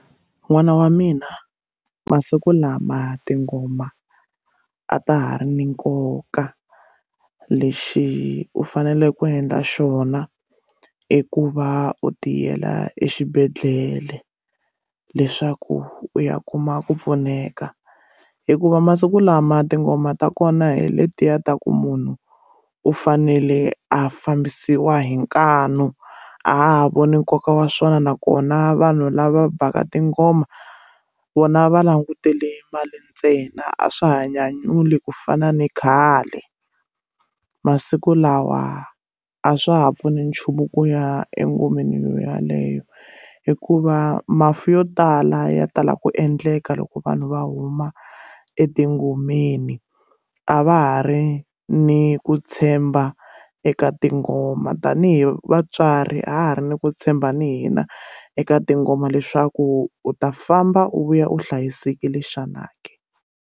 N'wana wa mina masiku lama tingoma a ta ha ri ni nkoka lexi u fanele ku endla xona i ku va u tiyela exibedhlele leswaku u ya kuma ku pfuneka hikuva masiku lama tingoma ta kona hi letiya ta ku munhu u fanele a fambisiwa hi nkanu a ha voni nkoka wa swona nakona vanhu lava bhaka tingoma vona va langutele mali ntsena a swa ha nyanyula ku fana ni khale masiku lawa a swa ha pfuni nchumu ku ya engomeni yo yaleyo hikuva mafi yo tala ya tala ku endleka loko vanhu va huma etingomeni a va ha ri ni ku tshemba eka tingoma tanihi vatswari a ha ri ni ku tshemba ni hina eka tingoma leswaku u ta famba u vuya u hlayisekile xana ke.